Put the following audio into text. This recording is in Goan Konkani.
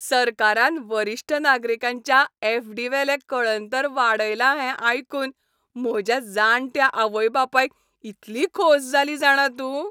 सरकारान वरिश्ठ नागरिकांच्या ऍफ.डी.वेलें कळंतर वाडयला हें आयकून म्हज्या जाण्ट्या आवय बापायक इतली खोस जाली जाणा तूं.